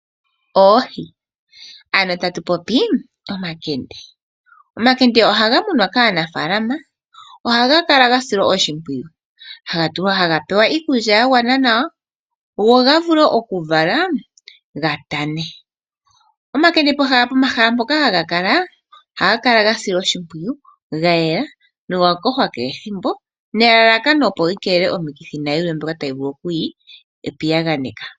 Oohi, ano tatu popi omakende. Omakende ohaga munwa kaanafaalama, ohaga kala ga silwa oshimpwiyu, haga tulwa haga pewa iikulya yagwana nawa go gavule okuvala ga tane. Omakende pomahala mpoka haga kala ohaga kala ga silwa oshimpwiyu ga yela noga kohwa kehe ethimbo nelalakano, opo yikelele omikithi ndhoka tadhi vulu okuyi piyaganeka